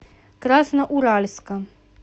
красноуральска